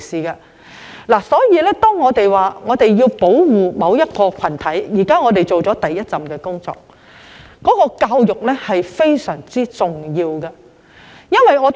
因此，如果我們要保護某個群體，現在只是完成了第一步工作，教育也是非常重要的。